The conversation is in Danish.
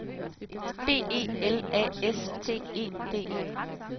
B E L A S T E D E